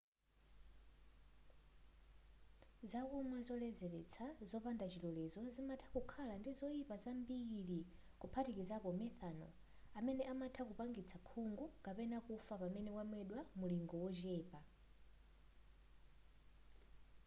zakumwa zoledzeletsa zopanda chilolezo zimatha kukhala ndi zoyipa zambiri kuphatikizapo methanol amene amatha kupangitsa khungu kapena kufa pamene wamwedwa wamulingo wochepa